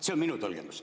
See on minu tõlgendus.